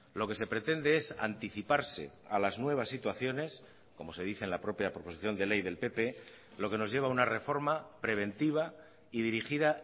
lo que se pretende es anticiparse a las nuevas situaciones como se dice en la propia proposición de ley del pp lo que nos lleva a una reforma preventiva y dirigida